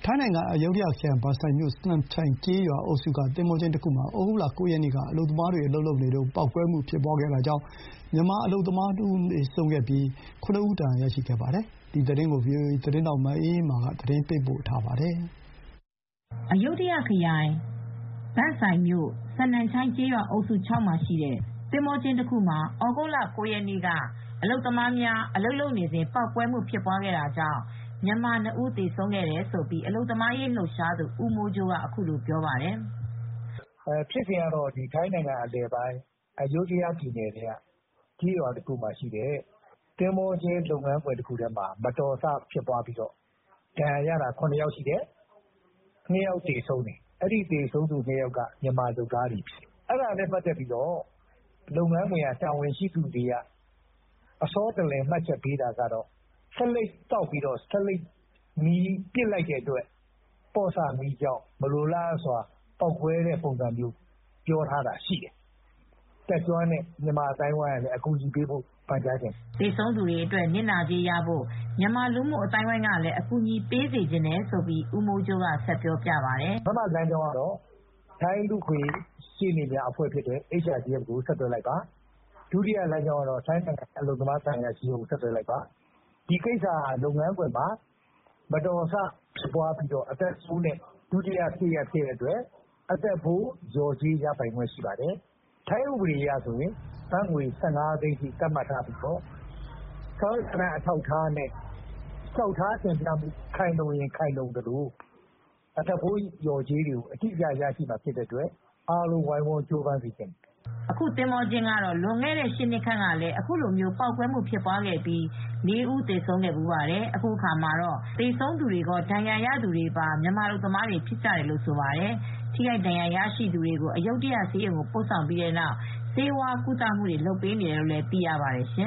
ိုင်းနိုင်ငံ အယုဒ္ဓယခရိုင် ဘန်စိုင်မြို့ စနမ်ချိုင်ကျေးရွာအုပ်စု ၆မှာ ရှိတဲ့သင်္ဘောကျင်းတခုမှာ ဩဂုတ်လ ၉ ရက်နေ့က အလုပ်သမားများအလုပ်လုပ်နေစဉ် ပေါက်ကွဲမှုဖြစ်ပွားတာကြောင့် မြန်မာအလုပ်သမား ၇ ဦးဒဏ်ရာရပြီး ၂ ဦးကတော့ ပေါက်ကွဲမှုကြောင့်သေဆုံးသွားခဲ့ပါတယ်။ ဒီသတင်းကို ဗွီအိုအေသတင်းထောက်မအေးအေးမာက သတင်းပေးပို့ထားပါတယ်။ အယုဒ္ဓယခရိုင် ဘန်စိုင်မြို့ စနမ်ချိုင်ကျေးရွာအုပ်စု ၆ မှာရှိတဲ့သင်္ဘောကျင်းတခုမှာ ဩဂုတ်လ ၉ ရက်နေ့ က အလုပ်သမားများအလုပ်လုပ်နေစဉ် ပေါက်ကွဲမှုဖြစ်ပွားတာကြောင့် မြန်မာ ၂ ဦးသေဆုံးခဲ့တယ်လို့ အလုပ်သမားရေးလှုပ်ရှားသူ ဦးမိုးကြိုးကအခုလိုပြောပါတယ်။ “ဖြစ်စဉ်ကတော့ ထိုင်းနိုင်ငံအလယ်ပိုင်း အယုဓ္ဒယခရိုင်ထဲမှာရှိတဲ့ကျေးရွာတခုရဲ့ သင်္ဘောကျင်းတခုမှာ မတော်တဆဖြစ်ပြီး ဒဏ်ရာရသူ ၇ ယောက်ရှိတယ်။ အဲဒီထဲမှာ သေဆုံးသူ ၂ ဦးရှိတယ်။ အဲဒီ ၂ ဦးကတော့ မြန်မာအလုပ်သမားတွေဖြစ်တယ်။ သူတို့ဖြစ်စဉ်ကို လုပ်ငန်းကတာဝန်ရှိသူတွေက အစောတလျင် မှတ်ချက် ပေးတာကတော့ ဆေးလိပ်သောက်ပြီး ဆေးလိပ်မီးကိုပစ်လိုက်တဲ့အတွက် မလိုအပ်ဘဲ ပေါက်ကွဲမီးလောင်မှု ဖြစ်တယ်လို့မှတ်ချက်ပေးပါတယ်။” သေဆုံးသူတွေအတွက် နစ်နာကြေးရဖို့ မြန်မာလူမှုအသိုင်းအဝိုင်းကလည်း အကူညီပေး စေချင်တယ်လို့ ဦးမိုးကြိုးကဆက်ပြောပြပါတယ်။ “တတ်ကျွမ်းတဲ့ မြန်မာအသိုင်းအဝိုင်းကလည်းအကူညီပေးစေချင်ပါတယ်။ ပထမကတော့ ထိုင်းလူ့အခွင့်ရေး ရှေ့နေတွေပါတဲ့HRDF လူ့အခွင့်ရေးအဖွဲ့ကို ဆက်သွယ်လိုက်ပါ။ ဒုတိယလမ်းကြောင်းကတော့ ထိုင်းနိုင်ငံက အလုပ်သမားသံအရာရှိကို ဆက်သွယ်လိုက်ပါ၊ ဒီကိစ္စကလုပ်ငန်းခွင်မှာမတော်တဆဖြစ်ပွားပြီး အသက်ဖိုး လျော်ကြေးရပိုင်ခွင့်ရမှာဖြစ်ပါတယ်။ ထိုင်းဥပဒေအရကတော့ ဘတ်ငွေ ၁၅ သိန်းထိ သတ်မှတ်ထားပြီး စာရွက်စာတမ်း အထောက်အထားတွေခိုင်လုံရင် အသက်ဖိုးလျော်ကြေး နစ်နာကြေးရမှာမို့ အားလုံးဝိုင်းဝန်း ကြိုးစားစေချင်ပါတယ်။” အခု သင်္ဘောကျင်းကတော့ လွန်ခဲ့တဲ့ ၈ နှစ်ခန့်ကလည်း အခုလိုမျိုး ပေါက်ကွဲမှုတခုဖြစ်ပွားပြီးလူ ၄ ဦး သေဆုံးဖူးပါတယ်။ အခုအခါမှာ သေဆုံးသူကော ဒဏ်ရာရသူတွေဟာ မြန်မာအလုပ်သမားတွေ ဖြစ်ကြတယ်လို့လည်း ဆိုပါတယ်။ ထိခိုက်ဒဏ်ရာရရှိသူများကို အယုဒ္ဓယဆေးရုံသို့ ပို့ဆောင်ပြီး နောက် ဆေးဝါးကုသမှုပေးနေတယ်လို့ သိရပါတယ်ရှင